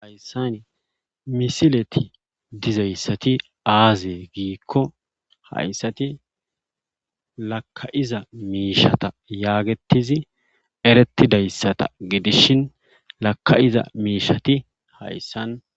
Hayssani misileti dizayssati aaze giikko hayssati lakka7iza miishshata yaagettizi erettidayssata gidishin lakka7iza miishshati hayssan.